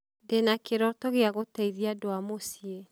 Ndĩ na kĩroto gĩa gũteithia andũ a mũciĩ